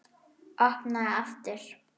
Opnaði aftur.